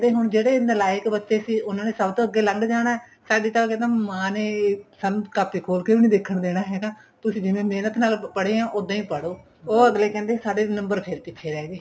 ਹੁਣ ਜਿਹੜੇ ਨਲਾਇਕ ਬੱਚੇ ਸੀ ਉਹਨਾ ਨੇ ਸਭ ਤੋਂ ਅੱਗੇ ਲੰਗ ਜਾਣਾ ਸਾਡੇ ਤਾਂ ਕਹਿੰਦੇ ਮਾਂ ਨੇ ਸਾਨੂੰ ਕਾਪੀ ਖੋਲ ਕੇ ਵੀ ਨੀਂ ਦੇਖਣ ਦੇਣਾ ਹੈਗਾ ਤੁਸੀਂ ਜਿਵੇਂ ਮਹਿਨਤ ਨਾਲ ਪੜ੍ਹੇ ਓ ਉੱਦਾਂ ਈ ਪੜ੍ਹੋ ਉਹ ਅਗਲੇ ਕਹਿੰਦੇ ਸਾਡੇ number ਫੇਰ ਪਿੱਛੇ ਰਹਿ ਗਏ